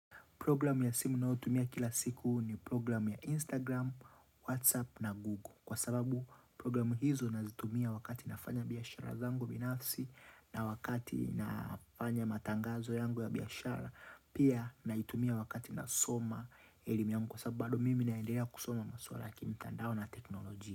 Programu ya simu ninayo tumia kila siku ni programu ya Instagram, Whatsapp na Google. Kwa sababu programu hizo nazitumia wakati nafanya biashara zangu binafsi, na wakati nafanya matangazo yangu ya biashara. Pia naitumia wakati nasoma elimi yangu Kwa sababu mimi naendea kusoma maswala ya kimtandao na teknolojia.